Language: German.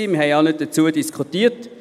Wir haben nicht darüber diskutiert.